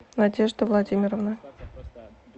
надежды владимировны